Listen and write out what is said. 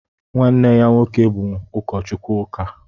nwanne ya nwoke bụ ụkọchukwu ụka